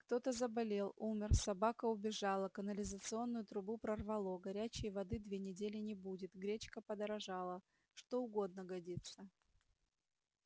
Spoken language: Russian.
кто-то заболел умёр собака убежала канализационную трубу прорвало горячей воды две недели не будет гречка подорожала что угодно годится